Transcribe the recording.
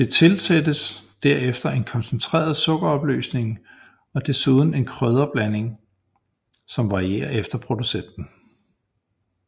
Det tilsættes derefter en koncentreret sukkeropløsning og dessuden en krydderblanding som varierer efter producenten